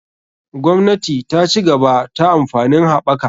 Gwamnati ta cigaba ta amfanin haɓaka.